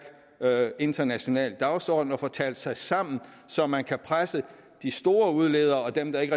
international dagsorden og få talt sig sammen så man kan presse de store udledere og dem der ikke